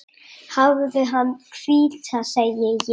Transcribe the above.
Hafðu hana hvíta, segi ég.